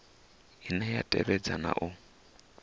ine ya tevhedza na u